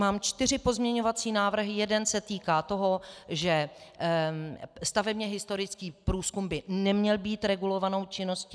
Mám čtyři pozměňovací návrhy, jeden se týká toho, že stavebně historický průzkum by neměl být regulovanou činností.